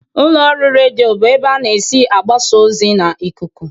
Ụlọ ọrụ redio bụ ebe ana esi agbasa ozi n'ikuku.